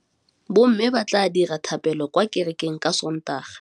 Bommê ba tla dira dithapêlô kwa kerekeng ka Sontaga.